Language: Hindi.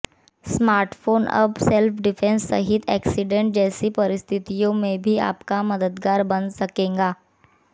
स्मार्टफोन अब सेल्फ डिफेंस सहित एक्सीडेंट जैसी परिस्थितियों में भी आपका मददगार बन सकेगा